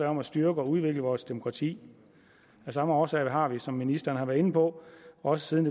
om at styrke og udvikle vores demokrati af samme årsag har vi som ministeren har været inde på også siden